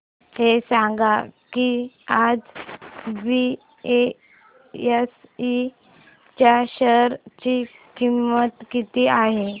हे सांगा की आज बीएसई च्या शेअर ची किंमत किती आहे